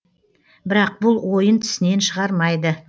бірақ бұл ойын тісінен шығармайды